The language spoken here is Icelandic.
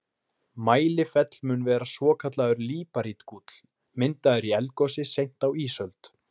Mælifell mun vera svokallaður líparítgúll, myndaður í eldgosi seint á ísöld.